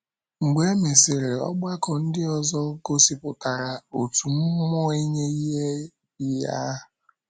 Mgbe e mesịrị, ọgbakọ ndị ọzọ gosipụtara otu mmụọ inye inye ihe ahụ.